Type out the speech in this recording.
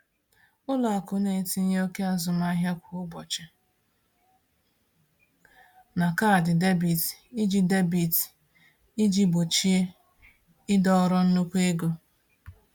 Ụlọ akụ na-etinye oke azụmahịa kwa ụbọchị na kaadị debit iji debit iji gbochie ịdọrọ nnukwu ego.